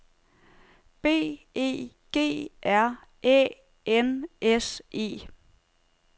B E G R Æ N S E